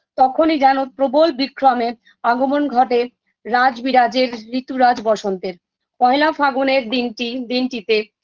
তখনই যেন প্রবল বিক্রমের আগমন ঘটে রাজ বিরাজের ঋতুরাজ বসন্তের পহেলা ফাগুনের দিনটি দিনটিতে